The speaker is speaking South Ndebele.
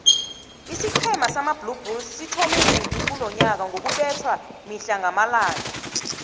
isiqhema samablue bulls sithomekumbi kulonyaka ngokubethwa mihlangamalanga